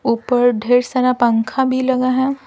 ऊपर ढेर सारा पंखा भी लगा हैं।